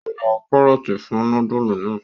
Yóó rà karọọti fún nudulu náa